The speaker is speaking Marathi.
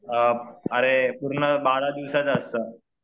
अ अरे पूर्ण बारा दिवसाचं असतं.